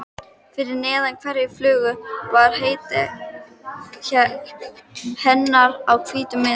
Fyrir neðan hverja flugu var heiti hennar á hvítum miða.